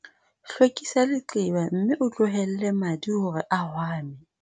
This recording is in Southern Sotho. hlwekisa leqeba mme o tlohelle madi hore a hwame